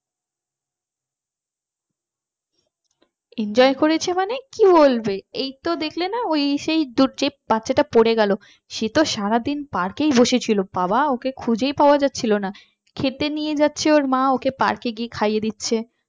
enjoy করেছে মানে কি বলবে এইতো দেখলে না ওই সেই যে বাচ্চাটা পড়ে গেল সে তো সারাদিন park ই বসেছিল বাবা ওকে খুঁজেই পাওয়া যাচ্ছিল না খেতে নিয়ে যাচ্ছে ওর মা ওকে park গিয়ে খাইয়ে দিচ্ছে